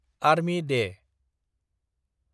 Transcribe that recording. army Day